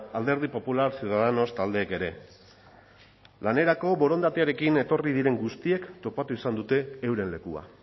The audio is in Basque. alderdi popular ciudadanos taldeek ere lanerako borondatearekin etorri diren guztiek topatu izan dute euren lekua